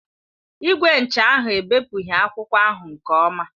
Igwe ncha ahụ ebepụghị akwụkwọ ahụ nke ọma.